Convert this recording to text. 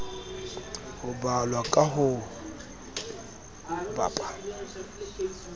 ho balwa ka ho bapa